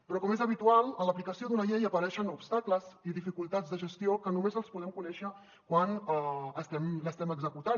però com és habitual en l’aplicació d’una llei apareixen obstacles i dificultats de gestió que només els podem conèixer quan l’estem executant